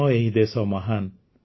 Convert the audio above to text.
ଆମ ଏହି ଦେଶ ମହାନ